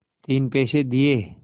तीन पैसे दिए